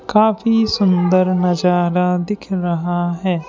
काफी सुंदर नजारा दिख रहा है।